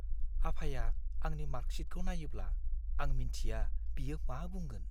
आफाया आंनि मार्कशीटखौ नायोब्ला, आं मिन्थिया बियो मा बुंगोन।